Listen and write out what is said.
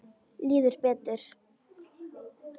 Líður betur.